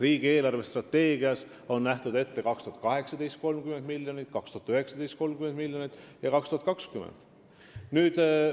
Riigi eelarvestrateegias on ette nähtud 2018. aastaks 20 miljonit, 2019. aastaks 25 miljonit ja 2020. aastaks 30 miljonit.